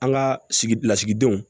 An ka sigi lasigidenw